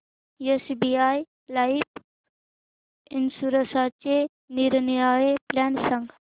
SBI life इन्शुरन्सचे निरनिराळे plan सांग